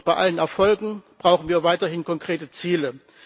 Doch bei allen Erfolgen brauchen wir weiterhin konkrete Ziele.